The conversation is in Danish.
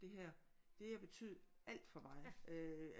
Det her det har betydet alt for mig øh